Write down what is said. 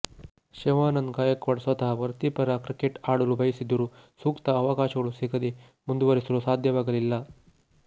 ಶಿವಾನಂದ್ ಗಾಯಕ್ವಾಡ್ ಸ್ವತಃ ವೃತ್ತಿಪರ ಕ್ರಿಕೆಟ್ ಆಡಲು ಬಯಸಿದ್ದರೂ ಸೂಕ್ತ ಅವಕಾಶಗಳು ಸಿಗದೆ ಮುಂದುವರೆಸಲು ಸಾಧ್ಯವಾಗಲಿಲ್ಲ